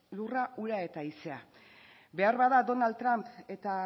lurra ura eta haizea beharbada donald trump eta